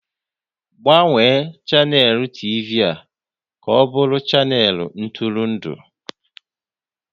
Gbanwee chanel TV ka ọ bụrụ chanel ntụrụndụ!